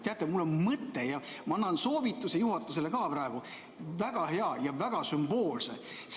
Teate, mul on mõte ja ma annan soovituse juhatusele ka praegu, väga hea ja väga sümboolse.